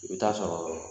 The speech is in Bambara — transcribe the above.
I bɛ taa sɔrɔ